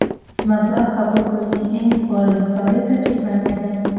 Mablag‘ qabul qilishning eng yuqori miqdori esa cheklanmagan.